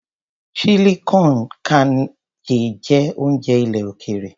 Chili con carne jẹ́ oúnjẹ ilẹ̀ òkèèrè.